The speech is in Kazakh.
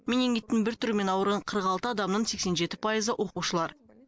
менингиттің бір түрімен ауырған қырық алты адамның сексен жеті пайызы оқушылар